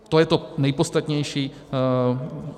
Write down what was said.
To je to nejpodstatnější.